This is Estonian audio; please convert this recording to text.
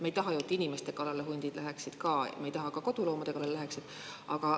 Me ei taha ju, et hundid inimeste kallale läheksid, me ei taha, et nad ka koduloomade kallale läheksid.